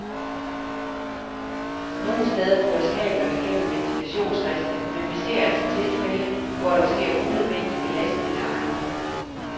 Nogle steder føres kablerne gennem ventilationsriste, men vi ser altså tilfælde, hvor der sker unødvendig belastning af ejendommene.